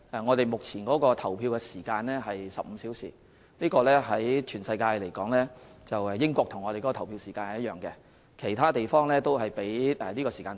我們目前的投票時間為15小時，全世界只有英國與我們的投票時間一樣，其他地方的投票時間都較短。